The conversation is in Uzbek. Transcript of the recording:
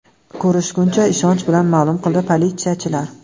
Ko‘rishguncha!”, ishonch bilan ma’lum qildi politsiyachilar.